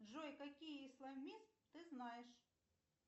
джой какие исламисты ты знаешь